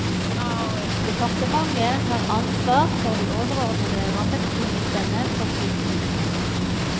Departementet har ansvar for de overordnede rammebetingelsene for sykehusene.